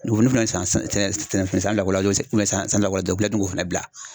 k'o fana bila